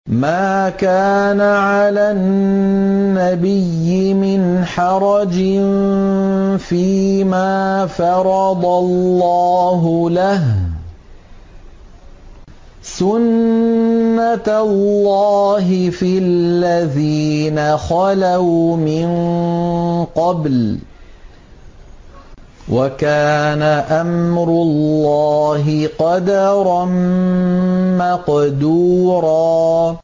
مَّا كَانَ عَلَى النَّبِيِّ مِنْ حَرَجٍ فِيمَا فَرَضَ اللَّهُ لَهُ ۖ سُنَّةَ اللَّهِ فِي الَّذِينَ خَلَوْا مِن قَبْلُ ۚ وَكَانَ أَمْرُ اللَّهِ قَدَرًا مَّقْدُورًا